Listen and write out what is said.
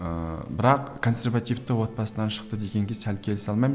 ыыы бірақ консервативті отбасынан шықты дегенге сәл келісе алмаймын